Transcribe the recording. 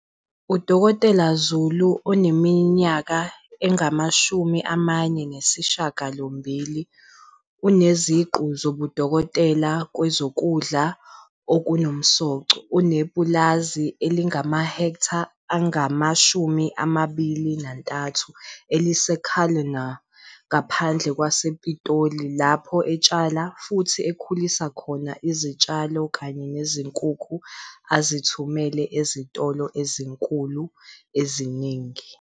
U-Dkt Zulu oneminyaka engama-48, oneziqu zobudokotela kwezokudla okunomsoco, unepulazi elingamahektha angama-23 elise-Cullinan ngaphandle kwasePitoli, lapho etshala futhi ekhulisa khona izitshalo kanye nezinkukhu azithumela ezitolo ezinkulu eziningi.